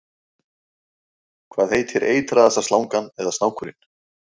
hvað heitir eitraðasta slangan eða snákurinn